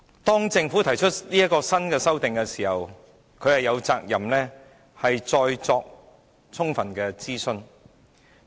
當政府提出新修訂，它便有責任再作充分諮詢。